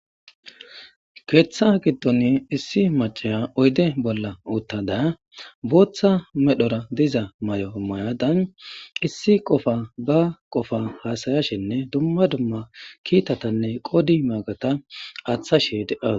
keeththa giddon issi macaya oyde bolla uttada booththa medhora diza may7o mayadan issi qofa ba qofa haasayashenne dumma dumma kiitatanne qodi maagata aaththashe deas